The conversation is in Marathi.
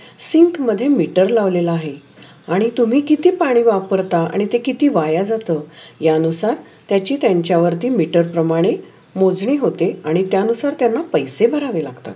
शिंक मध्ये मीटर लावलेल आहे. आणि तुम्ही किती पाणी वापरता, आणि ते किती वाया जात या नुसार त्याचि त्यांचे वरचे मीटर प्रमाणे मोजनी होते. आणि त्या नुसार त्यान्ना पैसे भरावे लागतात.